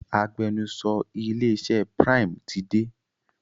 Agbẹnusọ ilé iṣẹ Prime ti dé.